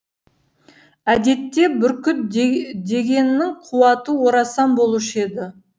әдетте бүркіт дегеннің қуаты орасан болушы еді